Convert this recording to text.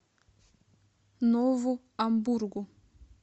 нову амбургу